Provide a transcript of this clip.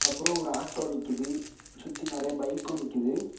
அப்புரோ ஒரு ஆட்டோ நிக்குது சுத்தி நிறைய பைக்கு நிக்குது.